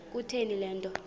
kutheni le nto